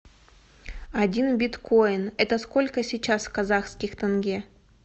один биткоин это сколько сейчас казахских тенге